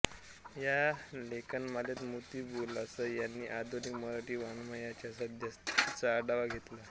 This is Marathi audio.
ह्या लेखमालेत मोती बुलासा ह्यांनी आधुनिक मराठी वाङ्मयाच्या सद्यस्थितीचा आढावा घेतला आहे